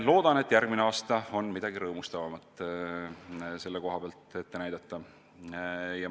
Loodan, et järgmine aasta toob selle koha pealt kaasa midagi rõõmustavat.